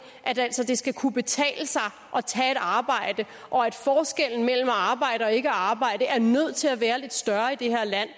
altså at det skal kunne betale sig at tage et arbejde og at forskellen mellem at arbejde og ikke arbejde er nødt til at være lidt større i det her land